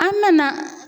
An nana